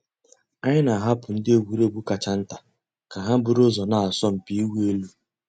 Ányị́ nà-àhapụ́ ndị́ ègwùrégwú kàchà ntá kà hà búrú ụ́zọ́ nà àsọ̀mpị́ ị̀wụ́ èlú.